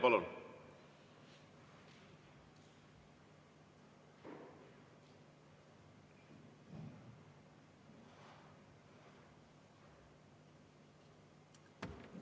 Palun!